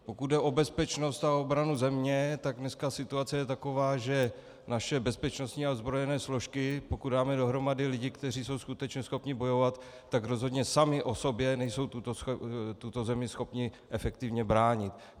Pokud jde o bezpečnost a obranu země, tak dneska situace je taková, že naše bezpečnostní a ozbrojené složky, pokud dáme dohromady lidi, kteří jsou skutečně schopni bojovat, tak rozhodně sami o sobě nejsou tuto zemi schopni efektivně bránit.